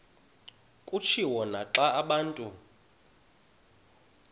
kutshiwo naxa abantu